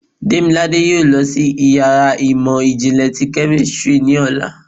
Demilade yóò lọ si ìyára imọ jinlẹ tí kemistri ni ọla.